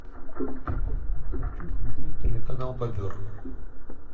хочу смотреть телеканал бобер